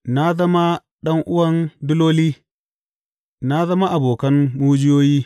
Na zama ɗan’uwan diloli, na zama abokan mujiyoyi.